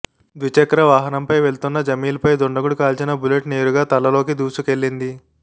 ద్విచక్రవాహనంపై వెళ్తున్న జమీల్పై దుండగుడు కాల్చిన బుల్లెట్ నేరుగా తలలోకి దూసుకెళ్లింది